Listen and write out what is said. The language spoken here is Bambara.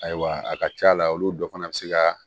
Ayiwa a ka ca la olu dɔ fana bɛ se ka